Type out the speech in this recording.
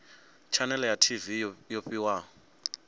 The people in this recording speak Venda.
tshanele ya tv yo fhiwaho